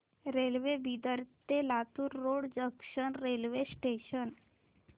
railway Bidar ते Latur road junction railway station